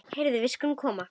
Heyrðu, við skulum koma.